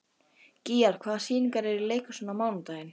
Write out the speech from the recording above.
Gígjar, hvaða sýningar eru í leikhúsinu á mánudaginn?